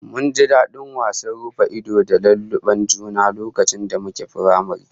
Mun ji dadin wasan rufa-ido da laluben juna lokacin da muke firamare